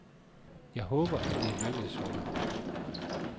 Jeg håber, at det lykkes for mig.